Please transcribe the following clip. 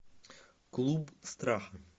клуб страха